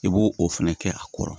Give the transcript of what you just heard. I b'o o fɛnɛ kɛ a kɔrɔ